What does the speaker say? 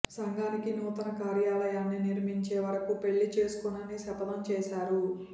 సంఘానికి నూతన కార్యాలయాన్ని నిర్మించేవరకు పెళ్లి చేసుకోనని శపథం చేశారు